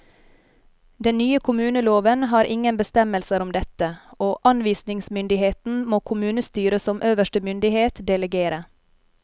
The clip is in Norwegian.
Den nye kommuneloven har ingen bestemmelser om dette, og anvisningsmyndigheten må kommunestyret som øverste myndighet delegere.